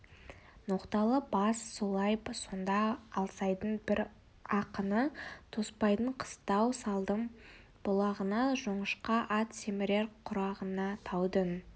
ноқталы бас солай сонда алсайдың бір ақыны тоспаның қыстау салдым бұлағына жоңышқа ат семірер құрағына таудың